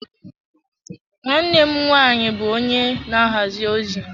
Nwanne m nwaanyị bụ onye na-ahazi ozi.